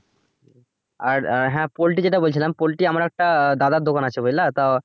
আর আহ হ্যা poultry যেটা বলছিলাম poultry আমার একটা দাদার দোকান আছে বুঝলা তো